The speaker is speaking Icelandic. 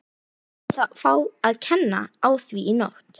Við látum þá fá að kenna á því í nótt.